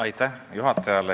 Aitäh juhatajale!